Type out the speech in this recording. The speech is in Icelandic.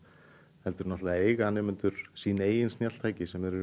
heldur eiga nemendur sín eigin snjalltæki sem þeir eru